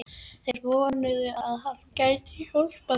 Þeir vonuðu, að hann gæti hjálpað þeim.